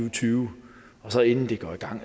og tyve og så inden det går i gang